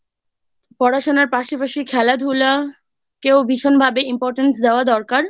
পড়াশুনোর পাশে পাশে খেলাধুলাকেও ভীষণভাবে Importance দেওয়া দরকার